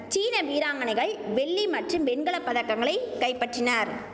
சீன வீராங்கனைகள் வெள்ளி மற்றும் வெண்கல பதக்கங்களை கைப்பற்றினர்